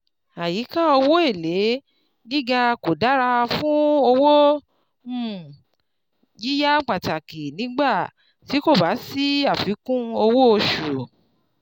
Àyíka owó èlé gíga kò dára fún owó um yíyá pàtàkì nígbà tí kò bá sí àfikún owó oṣù.